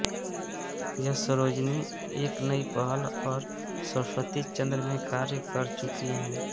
यह सरोजिनी एक नई पहल और सरस्वतीचन्द्र में कार्य कर चुकी हैं